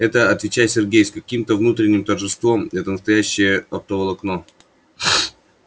это отвечает сергей с каким-то внутренним торжеством это настоящее оптоволокно